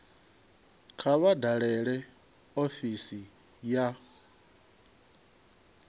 kha vha dalele ofisi ya